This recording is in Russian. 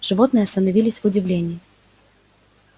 животные остановились в удивлении